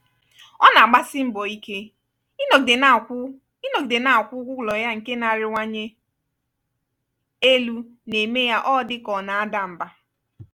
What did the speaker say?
ọ na-agbasi mbọ ike ịnọgide na-akwụ ịnọgide na-akwụ ụgwọ ụlọ ya nke na-arịwanye elu na eme ya odi ka ona ada mba.